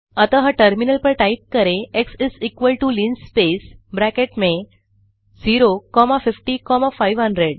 अतः टर्मिनल पर टाइप करें xlinspaceब्रैकेट में 0 कॉमा 50 कॉमा 500